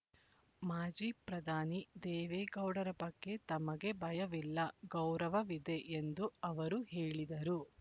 ಮಾಜಿ ಪ್ರಧಾನಿ ದೇವೇಗೌಡರ ಬಗ್ಗೆ ತಮಗೆ ಭಯವಿಲ್ಲ ಗೌರವವಿದೆ ಎಂದು ಅವರು ಹೇಳಿದರು